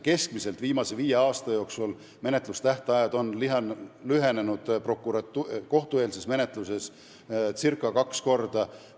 Keskmiselt on viimase viie aasta jooksul menetlustähtajad kohtueelses menetluses lühenenud circa kaks korda.